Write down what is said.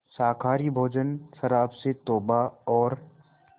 शाकाहारी भोजन शराब से तौबा और